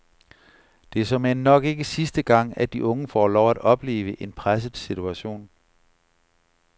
Det er såmænd nok ikke sidste gang, at de unge får lov at opleve en presset situation.